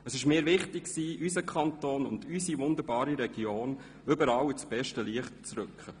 Es war mir wichtig, unseren Kanton und unsere wunderbare Region überall ins beste Licht zu rücken.